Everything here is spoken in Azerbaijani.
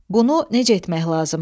Bunu necə etmək lazımdır?